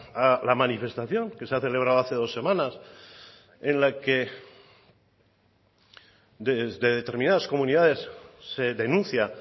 a la manifestación que se ha celebrado hace dos semanas en la que desde determinadas comunidades se denuncia